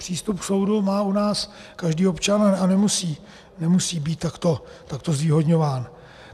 Přístup k soudu má u nás každý občan a nemusí být takto zvýhodňován.